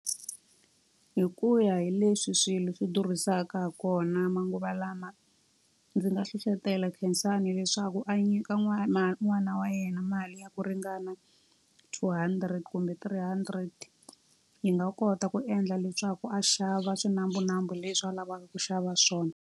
Hi ku ya hi leswi swilo swi durhisaka ha kona manguva lama, ndzi nga hlohlotela khensani leswaku a nyika n'wana n'wana wa yena mali ya ku ringana two hundred kumbe three hundred. Yi nga kota ku endla leswaku a xava swinambunambu leswi a lavaka ku xava swona.